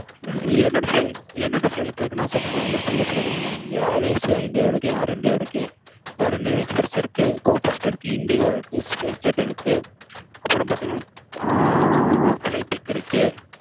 ஆஹ் என்னென்ன flight லா இருக்குன்னு list அ சொல்லிற mam air asia இருக்கு air india இருக்கு air india express இருக்கு go first இருக்கு go indigo இருக்கு spice jet இருக்கு அப்புறம் பாத்தீங்கன்னா flight trick இருக்கு